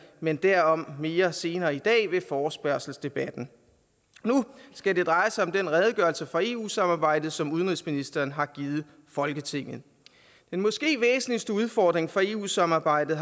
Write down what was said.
men derom mere senere i dag under forespørgselsdebatten nu skal det dreje sig om den redegørelse for eu samarbejdet som udenrigsministeren har givet folketinget måske væsentligste udfordring for eu samarbejdet